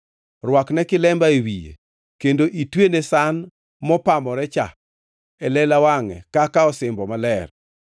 Rwakne kilemba e wiye kendo itwene san mopamorecha e lela wangʼe kaka osimbo maler.